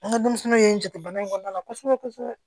An ka denmisɛnninw ye n jate bana in kɔnɔna na kosɛbɛ kosɛbɛ